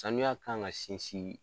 Sanuya kan ka sinsin